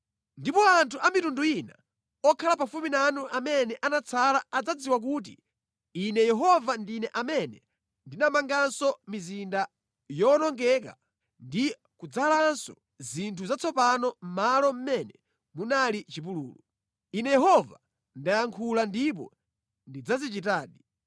Ndipo anthu a mitundu ina okhala pafupi nanu amene anatsala adzadziwa kuti Ine Yehova ndine amene ndinamanganso mizinda yowonongeka ndi kudzalanso zinthu zatsopano mʼmalo mʼmene munali chipululu. Ine Yehova ndayankhula ndipo ndidzazichitadi.’